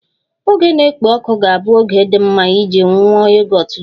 Oge na-ekpo ọkụ ga-abụ oge dị mma iji nwụọ Yogọt juru oyii